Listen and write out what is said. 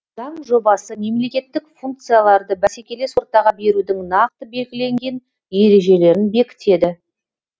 заң жобасы мемлекеттік функцияларды бәсекелес ортаға берудің нақты белгіленген ережелерін бекітеді